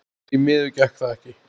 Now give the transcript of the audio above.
Því miður gekk það ekki.